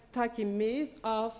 taki mið af